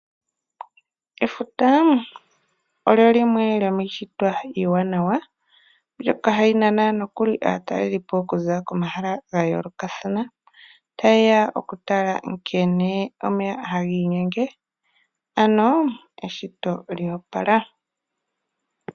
Efuta olyo limwe lyomiishitwa iiwanawa mbyoka hayi nana aataleli po okuza komahala gayoolokathana. Aantu mbaka ohaye ya okutala nkene omeya tagii nyenge, eshito lyoopala.